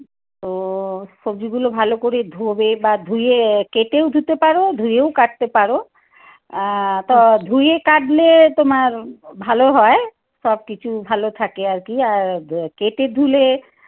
তো সবজিগুলো ভালো করে ধোবে বা ধুয়ে কেটেও ধুতে পারো। ধুয়েও কাটতে পারো। আহ তো ধুয়ে কাটলে তোমার ভালো হয়। সবকিছু ভালো থাকে আর কি। আর কেটে ধুলে